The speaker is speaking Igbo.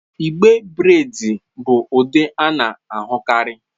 Igbe braids bụ ụdị a na-ahụkarị.